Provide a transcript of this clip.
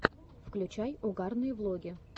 включай угарные влоги